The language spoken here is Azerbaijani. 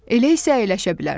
Elə isə əyləşə bilərsən.